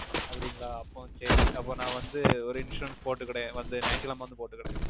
அப்படிங்களா அப்போ நா வந்து சேரி அப்போ நா வந்து ஒரு Insurance போட்டுக்குடேன் வந்து ஞாயிட்டுகிழம வந்து போட்டுக்குடேன்